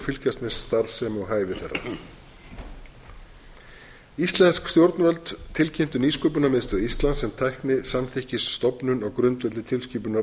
fylgjast með starfsemi og hæfi þeirra íslensk stjórnvöld tilkynntu nýsköpunarmiðstöð íslands sem tæknisamþykkisstofnun á grundvelli tilskipunar